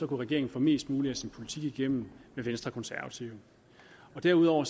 regeringen få mest muligt af sin politik igennem med venstre og konservative derudover